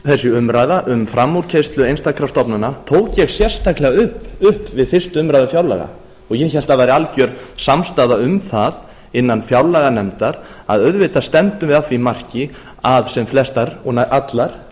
akkúrat þessa umræðu um frammúrkeyrslu einstakra stofnana tók ég sérstaklega upp við fyrstu umræðu fjárlaga og ég hélt að það væri alger samstaða um það innan fjárlaganefndar að auðvitað stefndum við að því marki að sem flestar og nær allar